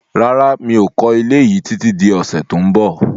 Rárá, mi ò kọ́ ilé yí títí di ọ̀sẹ̀ tó ń bọ̀